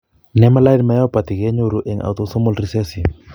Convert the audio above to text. Nemaline myopathy ke nyoru en autosomal recessive